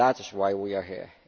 That is why we are here.